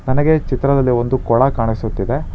ನನಗೆ ಚಿತ್ರದಲ್ಲಿ ಒಂದು ಕೊಳ ಕಾಣಿಸುತ್ತಿದೆ.